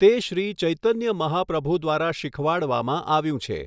તે શ્રી ચૈતન્ય મહાપ્રભુ દ્વારા શીખવાડવામાં આવ્યું છે.